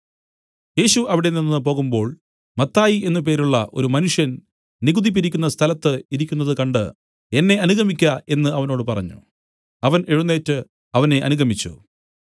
യേശു അവിടെനിന്ന് പോകുമ്പോൾ മത്തായി എന്നു പേരുള്ള ഒരു മനുഷ്യൻ നികുതി പിരിക്കുന്ന സ്ഥലത്ത് ഇരിക്കുന്നത് കണ്ട് എന്നെ അനുഗമിക്ക എന്നു അവനോട് പറഞ്ഞു അവൻ എഴുന്നേറ്റ് അവനെ അനുഗമിച്ചു